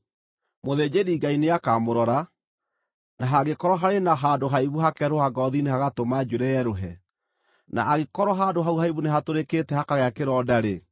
Mũthĩnjĩri-Ngai nĩakamũrora, na hangĩkorwo harĩ na handũ haimbu hakeerũha ngoothi-inĩ hagatũma njuĩrĩ yerũhe, na angĩkorwo handũ hau haimbu nĩhatũrĩkĩte hakagĩa kĩronda-rĩ,